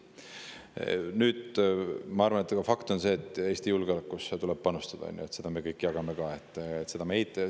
Fakt on see, et Eesti julgeolekusse tuleb panustada, seda me jagame kõik, seda me ei eita.